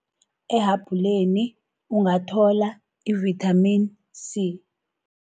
Ehabhuleni, ungathola i-vitamin C.